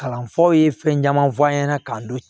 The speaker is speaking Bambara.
Kalanfaw ye fɛn caman fɔ an ɲɛna k'an to